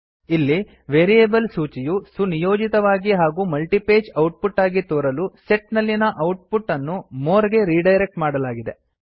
ಇಲ್ಲಿ ವೇರಿಯೇಬಲ್ ಸೂಚಿಯು ಸುನಿಯೋಜಿತವಾಗಿ ಹಾಗೂ ಮಲ್ಟಿಪೇಜ್ ಔಟ್ಪುಟ್ ಆಗಿ ತೋರಲು ಸೆಟ್ ನಲ್ಲಿನ ಔಟ್ಪುಟ್ ಅನ್ನು ಮೋರ್ ಗೆ ರಿಡೈರೆಕ್ಟ್ ಮಾಡಲಾಗಿದೆ